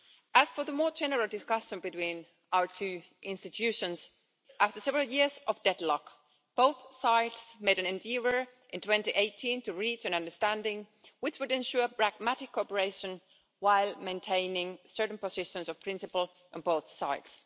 As for the more general discussion between our two institutions, after several years of deadlock both sides made an endeavour in 2018 to reach an understanding which would ensure pragmatic cooperation while maintaining certain positions of principle on both sides.